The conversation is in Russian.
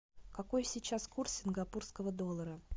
какой сейчас курс сингапурского доллара